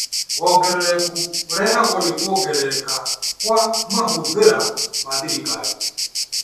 Wongerereku ũrehagwo nĩ kuongerereka kwa mahũthĩra ma thirikari